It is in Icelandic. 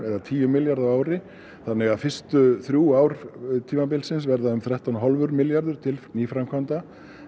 tíu milljarða á ári þannig að fyrstu þrjú ár tímabilsins verða þrettán og hálfur milljarður til nýframkvæmda